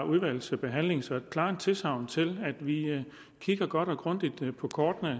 udvalgsbehandling så et klart tilsagn til at vi kigger godt og grundigt på kortet